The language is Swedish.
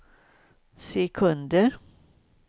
sekunder